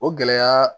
O gɛlɛya